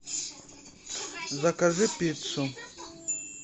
закажи пиццу